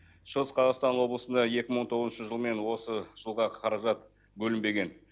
шығыс қазақстан облысында екі мың он тоғызыншы жыл мен осы жылға қаражат бөлінбеген